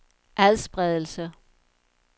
adspredelse